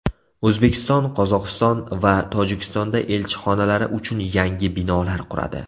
O‘zbekiston Qozog‘iston va Tojikistonda elchixonalari uchun yangi binolar quradi .